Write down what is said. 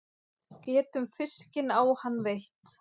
Getum fiskinn á hann veitt.